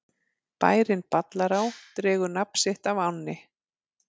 Bærinn Ballará dregur nafn sitt af ánni.